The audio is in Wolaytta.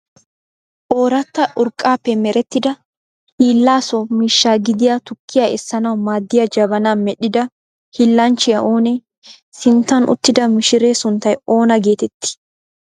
Ooratta urqqaappe merettida hiilla so miishsha gidiya tukkiyaa essanawu maaddiya jabanaa medhdhida hiillanchchiyaa oonee? Sinttan uttida mishiree sunttay oona geetettii?